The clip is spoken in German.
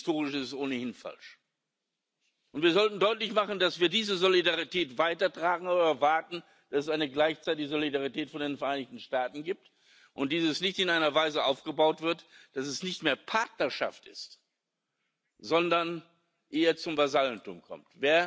Und historisch ist es ohnehin falsch. Wir sollten deutlich machen, dass wir diese Solidarität weitertragen, aber erwarten, dass es gleichzeitig eine Solidarität von den Vereinigten Staaten gibt und diese nicht in einer Weise aufgebaut wird, dass sie nicht mehr Partnerschaft ist, sondern eher zum Vasallentum verkommt.